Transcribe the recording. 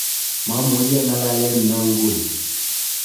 mamuchi ang'alalen noe nguni